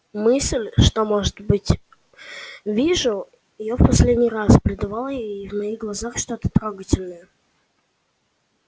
мысль что может быть вижу её в последний раз придавала ей в моих глазах что-то трогательное